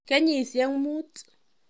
Keyisiek muut.